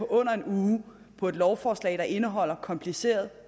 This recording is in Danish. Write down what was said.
under en uge på et lovforslag der indeholder kompliceret